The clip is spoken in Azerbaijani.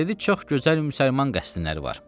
Dedi, çox gözəl müsəlman qəsrləri var.